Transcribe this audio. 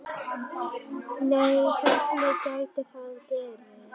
Nei hvernig gæti það verið?